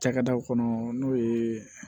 Cakɛdaw kɔnɔ n'o ye